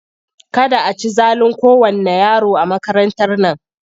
Kada a ci zalin kowanne yaro a makarantar nan!